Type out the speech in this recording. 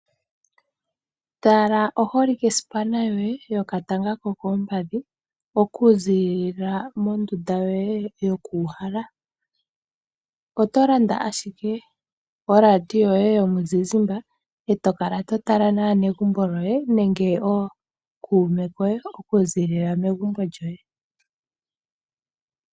Tala oholike sipana yoye yokatanga ko koompadhi mondunda yoye yokuuhala. Oto landa ashike oradio yomuzizimbe eto kala to tala naanegumbo lyoye nenge nookume keye okuziilila megumbo lyoye.